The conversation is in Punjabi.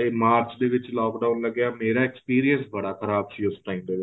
ਇਹ ਮਾਰਚ ਦੇ ਵਿੱਚ lock down ਲੱਗਿਆ ਮੇਰਾ experience ਬੜਾ ਖ਼ਰਾਬ ਸੀ ਉਸ time ਦੇ ਵਿੱਚ